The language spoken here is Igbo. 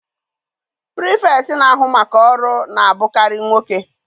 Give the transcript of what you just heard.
Pirifektị na-ahu maka ọrụ na-abụkarị nwoke.